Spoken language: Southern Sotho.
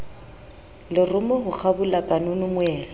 lerumo ho kgabola kanono moela